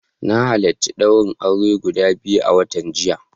Na halarci daurin aure guda biyu a watan jiya.